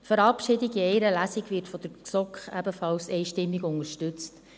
Die Verabschiedung in einer Lesung wird von der GSoK ebenfalls einstimmig unterstützt.